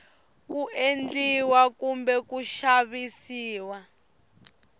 ku endliwa kumbe ku xavisiwa